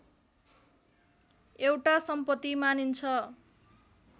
एउटा सम्पत्ति मानिन्छ